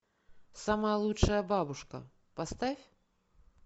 самая лучшая бабушка поставь